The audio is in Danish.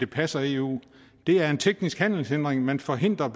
passer eu er en teknisk handelshindring man forhindrer